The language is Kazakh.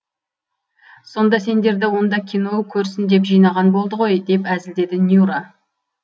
сонда сендерді онда кино көрсін деп жинаған болды ғой деп әзілдеді нюра